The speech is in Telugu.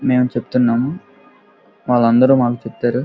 మేము చెప్తున్నాము వాళ్ళందరూ మాకు చెప్పారు.